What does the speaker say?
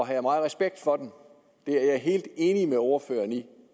har meget respekt for dem det er jeg helt enig med ordføreren i